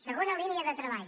segona línia de treball